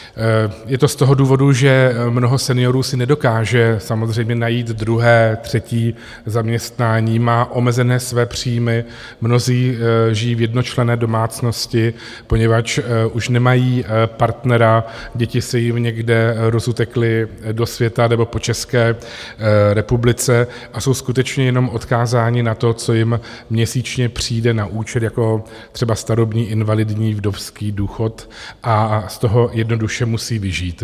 Je to z toho důvodu, že mnoho seniorů si nedokáže samozřejmě najít druhé, třetí zaměstnání, má omezené své příjmy, mnozí žijí v jednočlenné domácnosti, poněvadž už nemají partnera, děti se jim někde rozutekly do světa nebo po České republice a jsou skutečně jenom odkázáni na to, co jim měsíčně přijde na účet, jako třeba starobní, invalidní, vdovský důchod a z toho jednoduše musí vyžít.